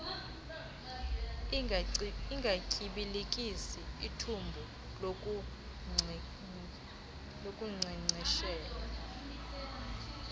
ungatyibilikisi ithumbu lokunkcenkceshela